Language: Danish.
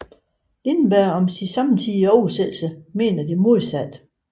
Lindberg om sin samtidige oversættelse mener det modsatte